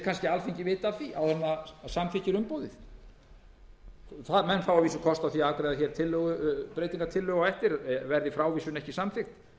kannski vita af því áður en það samþykkir umboðið menn fá að vísu kost á því að afgreiða breytingartillögu á eftir verði frávísun ekki samþykkt